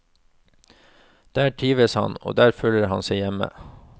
Der trivdes han, og der følte han seg hjemme.